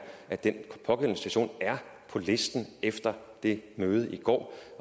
at den pågældende station er på listen efter det møde i går